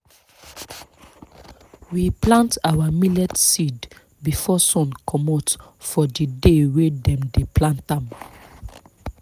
we plant our millet seed before sun comot for di day wey dem dey plant am.